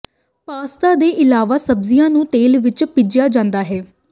pasta ਦੇ ਇਲਾਵਾ ਸਬਜ਼ੀਆਂ ਨੂੰ ਤੇਲ ਵਿੱਚ ਭਿੱਜਿਆ ਜਾਂਦਾ ਹੈ